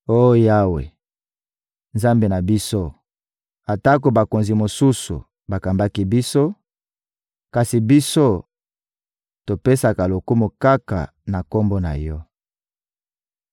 Oh Yawe, Nzambe na biso, atako bakonzi mosusu bakambaki biso, kasi biso, topesaka lokumu kaka na Kombo na Yo.